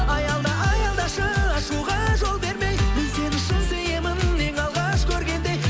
аялда аялдашы ашуға жол бермей мен сені шын сүйемін ең алғаш көргендей